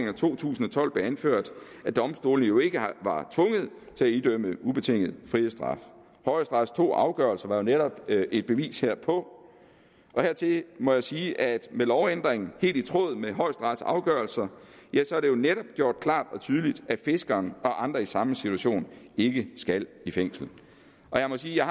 to tusind og tolv blev anført at domstolene jo ikke var tvunget til at idømme ubetinget frihedsstraf højesterets to afgørelser var jo netop et bevis herpå hertil må jeg sige at med lovændringen helt i tråd med højesterets afgørelser er det netop gjort klart og tydeligt at fiskeren og andre i samme situation ikke skal i fængsel jeg må sige at jeg